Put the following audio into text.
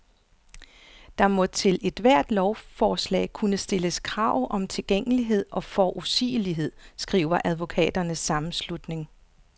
Der må til ethvert lovforslag kunne stilles krav om tilgængelighed og forudsigelighed, skriver advokaternes sammenslutning.